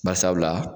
Bari sabula